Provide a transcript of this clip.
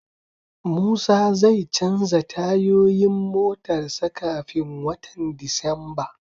Musa zai canza tayoyin motar sa kafin watan Disamba